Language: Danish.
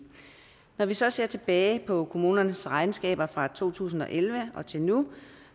når vi så ser tilbage på kommunernes regnskaber fra to tusind og elleve og til nu